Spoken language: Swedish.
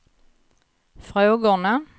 frågorna